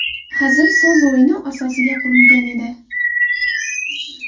Hazil so‘z o‘yini asosiga qurilgan edi.